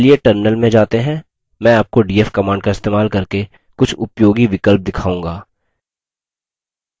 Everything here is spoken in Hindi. चलिए terminal में जाते हैं मैं आपको df command का इस्तेमाल करके कुछ उपयोगी विकल्प दिखाऊँगा